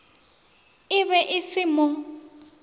e be e se mo